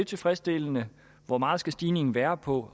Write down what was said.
tilfredsstillende hvor meget skal stigningen være på